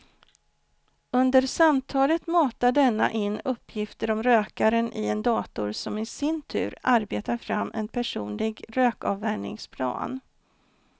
Under samtalet matar denna in uppgifter om rökaren i en dator som i sin tur arbetar fram en personlig rökavvänjningsplan.